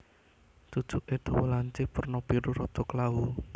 Cucuké dawa lancip werna biru rada klawu